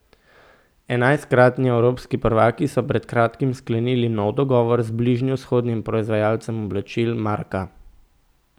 Enajstkratni evropski prvaki so pred kratkim sklenili nov dogovor z bližnjevzhodnim proizvajalcem oblačil Marka.